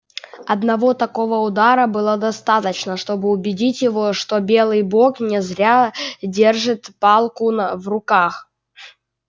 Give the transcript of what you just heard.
одного такого удара было достаточно чтобы убедить его что белый бог не зря держит палку на в руках